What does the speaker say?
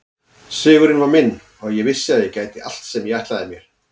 Sigurinn var minn og ég vissi að ég gæti allt sem ég ætlaði mér.